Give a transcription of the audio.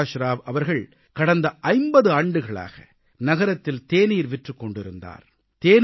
பிரகாஷ் ராவ் அவர்கள் கடந்த 50 ஆண்டுகளாக நகரத்தில் தேநீர் விற்றுக் கொண்டிருந்தார்